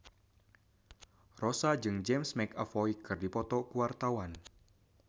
Rossa jeung James McAvoy keur dipoto ku wartawan